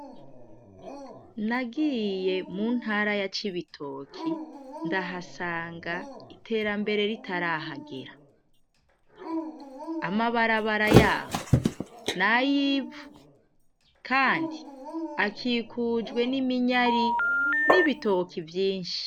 Nagiye mu ntara ya cibitoke ndahasanga iterambere ritarahagera. Amabarabara yaho nay’ivu kandi akikujwe n’iminyari n’ibitoki vyinshi.